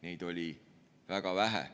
Neid oli väga vähe.